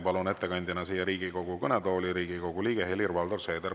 Palun Riigikogu kõnetooli ettekandjaks Riigikogu liikme Helir-Valdor Seederi.